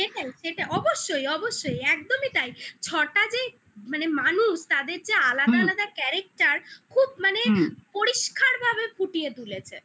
সেটাই সেটা অবশ্যই অবশ্যই একদমই তাই ছটা যে মানে মানুষ তাদের যে আলাদা আলাদা character খুব মানে হুম পরিষ্কারভাবে ফুটিয়ে তুলেছে